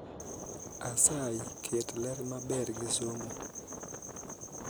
asayi ket ler maber gi somo